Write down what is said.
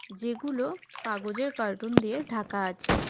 যেগুলো কাগজের কার্টুন দিয়ে ঢাকা আছে.